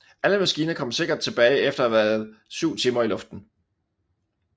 Alle maskiner kom sikkert tilbage efter at have været 7 timer i luften